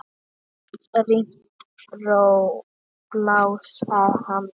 Ritmísk ró blásara að handan.